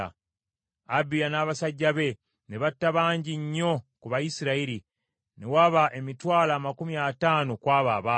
Abiya n’abasajja be ne batta bangi nnyo ku Bayisirayiri, ne waba emitwalo amakumi ataano ku abo abaafa.